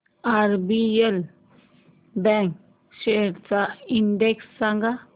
RBL bank shares चा index सांगा